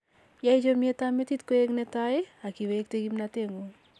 yai chomyetab metit koik netai ak iwekte kimnoteng'ung